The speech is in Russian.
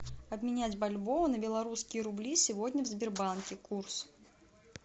обменять бальбоа на белорусские рубли сегодня в сбербанке курс